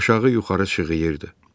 Aşağı yuxarı şığıyırdı.